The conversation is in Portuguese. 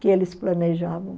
que eles planejavam.